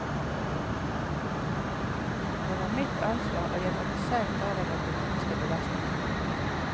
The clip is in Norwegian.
Det var mitt ansvar, og jeg måtte selv ta den økonomiske belastningen.